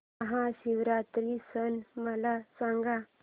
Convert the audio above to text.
महाशिवरात्री सण मला सांग